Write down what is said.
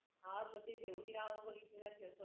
हा ग ते तेवढी नावे बघितले नसेल पण